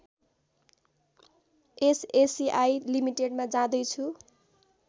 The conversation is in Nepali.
एसएससिआई लिमिटेडमा जाँदै छु